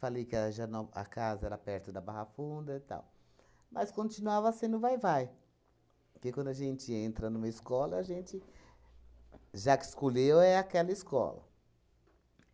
Falei que a Higienó a casa era perto da Barra Funda e tal, mas continuava sendo Vai-Vai, porque, quando a gente entra numa escola, a gente, já que escolheu, é aquela escola.